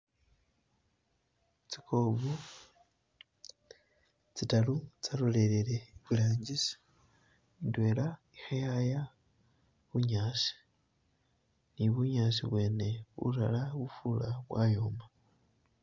Tsi kob tsitaru tsalolele I iburangisi, indwela kheyaya bunyasi, ne bunyasi bwene bulala bufura bwayoma.